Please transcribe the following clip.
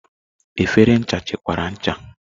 Efere ncha chekwara ncha.